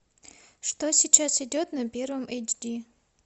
что сейчас идет на первом эйч ди